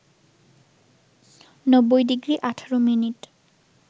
৯০ degree ১৮ minute